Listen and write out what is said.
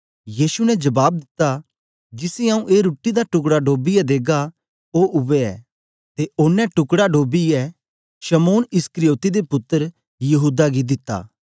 यीशु ने जबाब दिता जिसी आऊँ ए रुट्टी दा टुकड़ा डोबियै देगा ओ उवै ऐ ते ओनें टुकड़ा डोबियै शमौन इस्करियोती दे पुत्तर यहूदा गी दिता